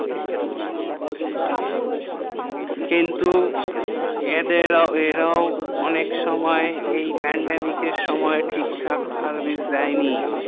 কিন্তু এদের ওরাও অনেক সময় এই pandamicr এর সময় ঠিক থাকে service দেই নি